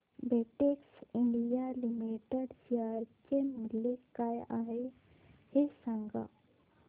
Betex India limited share चे मूल्य काय आहे हे सांगा